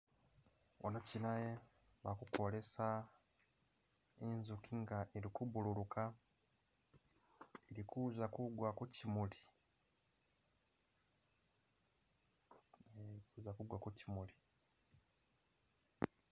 wano chinaye bakukwolesa inzuki nga ili kubululuka ili kuza kugwa kuchimuli e izakugwa kuchimuli